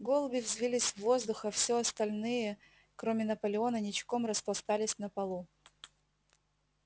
голуби взвились в воздух а все остальные кроме наполеона ничком распластались на полу